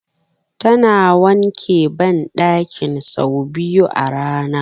Tana wanke banɗakin sau biyu a rana